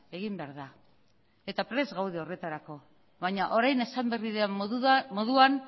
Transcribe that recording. egin behar da eta prest gaude horretarako baina orain esan berri den moduan